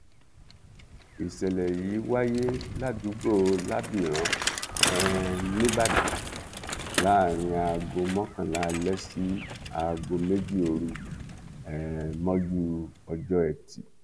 ìṣẹlẹ yìí wáyé ládùúgbò lábìrán um nìbàdàn láàrin aago mọkànlá alẹ sí aago méjì òru um mọjú ọjọ etí